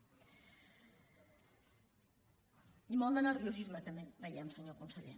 i molt de nerviosisme també veiem senyor conseller